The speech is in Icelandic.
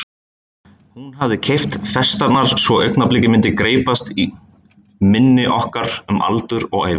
Hún hafði keypt festarnar svo augnablikið myndi greypast í minni okkar um aldur og ævi.